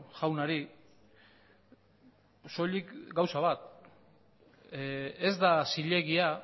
jaunari soilik gauza bat ez da zilegia